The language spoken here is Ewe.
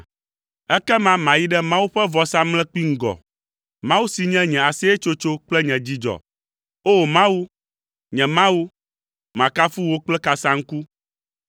Ekema mayi ɖe Mawu ƒe vɔsamlekpui ŋgɔ, Mawu si nye nye aseyetsotso kple nye dzidzɔ. O! Mawu, nye Mawu, makafu wò kple kasaŋku.